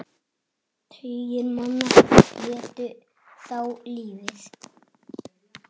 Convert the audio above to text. Tugir manna létu þá lífið.